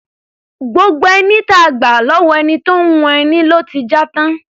Gbogbo ẹní tí a gbà lọ́wọ́ ẹni tó ń hun ẹni ló ti já tán.